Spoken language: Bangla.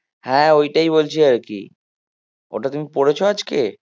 হ্যাঁ ওইটাই বলছি আর কি ওটা তুমি পড়েছো আজকে?